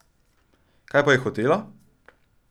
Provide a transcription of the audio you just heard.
Kaj pa je hotela?